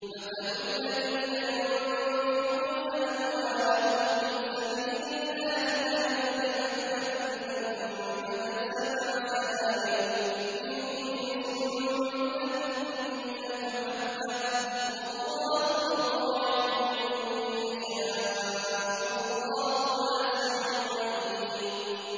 مَّثَلُ الَّذِينَ يُنفِقُونَ أَمْوَالَهُمْ فِي سَبِيلِ اللَّهِ كَمَثَلِ حَبَّةٍ أَنبَتَتْ سَبْعَ سَنَابِلَ فِي كُلِّ سُنبُلَةٍ مِّائَةُ حَبَّةٍ ۗ وَاللَّهُ يُضَاعِفُ لِمَن يَشَاءُ ۗ وَاللَّهُ وَاسِعٌ عَلِيمٌ